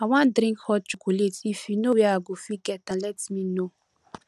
i wan drink hot chocolate if you know where i go fit get am let me know